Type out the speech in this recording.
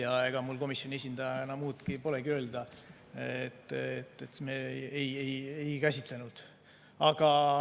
Nii et ega mul komisjoni esindajana muud polegi öelda, kui et me seda ei käsitlenud.